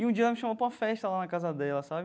E um dia ela me chamou para uma festa lá na casa dela, sabe?